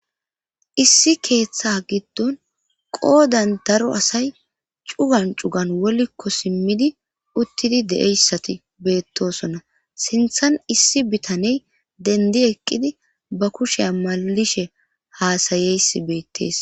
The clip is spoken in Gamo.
issi keeththa giddon qoodan daro asay cugan cugan wolikko simmidi uttidi de7eyssati beettosonna sinthan issi bitaney dendi eqqidi ba kusheya malishe haasayeysi beettees